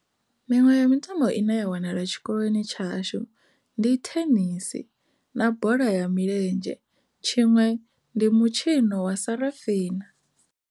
Miṅwe ya mitambo ine ya wanala tshikoloni tshashu ndi thenisi na bola ya milenzhe tshiṅwe ndi mutshino wa sarafina.